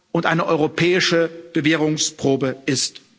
und eine europäische Bewährungsprobe ist.